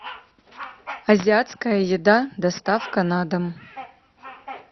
азиатская еда доставка на дом